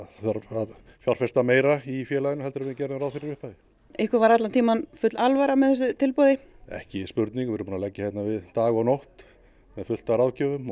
að fjárfesta meira í félaginu en við gerðum ráð fyrir í upphafi ykkur var allan tímann full alvara með þessu tilboði ekki spurning við erum búin að leggja hérna við dag og nótt með fullt af ráðgjöfum